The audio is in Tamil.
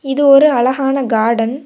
இது ஒரு அழகான கார்டன் .